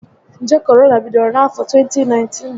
Njé Korona bidoro na afọ 2019